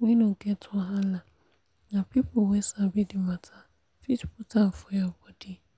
wey no get wahala na people wey sabi the matter fit put am for your body.